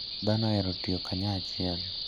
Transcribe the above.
Dhano ohero tiyo kanyachiel.